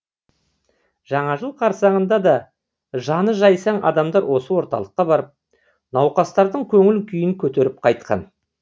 жаңа жыл қарсаңында да жаны жайсаң адамдар осы орталыққа барып науқастардың көңіл күйін көтеріп қайтқан